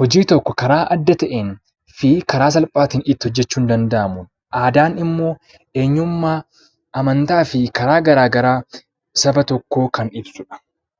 hojii tokko karaa adda ta'een fi karaa salphaatiin itti hojjechuun danda'amu. Aadaan immoo eenyummaa amantaa fi karaa garaagaraa saba tokkoo kan ibsudha.